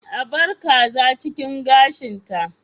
A bar kaza cikin gashin ta